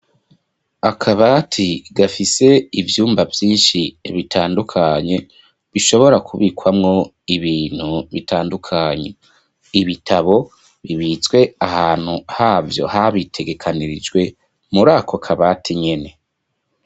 Akabati gafise ivyumba vyishi bitandukanye bishobora kubikwamwo ibintu bitandukanye ibitabo bibitswe ahantu havyo habitegekanirijwe muri ako kabati nyene.